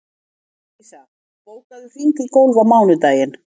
Melissa, bókaðu hring í golf á mánudaginn.